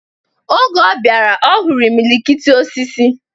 Oge ọ bịara, ọ hụrụ imilikiti osisi